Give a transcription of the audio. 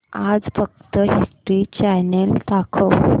आज फक्त History Channel दाखव